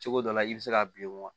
Cogo dɔ la i bɛ se ka bilen wa